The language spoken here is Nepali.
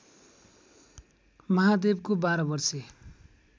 महादेवको बाह्रवर्षे